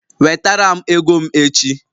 Wetara m ego m echi!